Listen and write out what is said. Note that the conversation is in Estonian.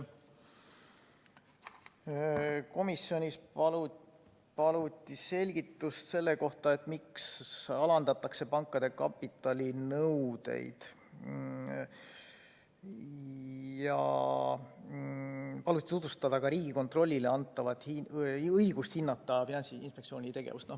Komisjonis paluti selgitust selle kohta, miks alandatakse pankade kapitalinõudeid, ja paluti tutvustada Riigikontrollile antavat õigust hinnata Finantsinspektsiooni tegevust.